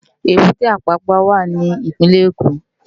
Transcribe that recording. Ébùté Ápàpá wá ni Ipinlè Ékó